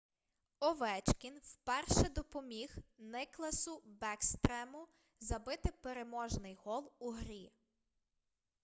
овечкін вперше допоміг никласу бекстрему забити переможний гол у грі